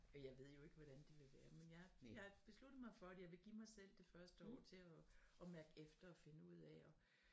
Og jeg ved jo ikke hvordan det vil være men jeg jeg har besluttet mig for at jeg vil gerne mig selv det første år til og og mærke efter og finde ud af og